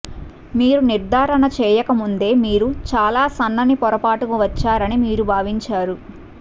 మీరు నిర్ధారణ చేయక ముందే మీరు చాలా సన్నని పొరపాటుకు వచ్చారని మీరు భావించారు